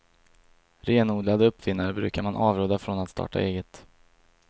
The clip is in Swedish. Renodlade uppfinnare brukar man avråda från att starta eget.